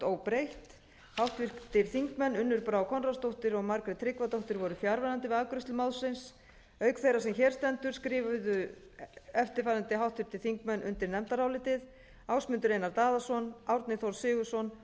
óbreytt háttvirtir þingmenn unnur brá konráðsdóttir og margrét tryggvadóttir voru fjarverandi við afgreiðslu málsins auk þeirrar sem hér stendur skrifuðu eftirfarandi háttvirtir þingmenn undir nefndarálitið ásmundur einar daðason árni þór sigurðsson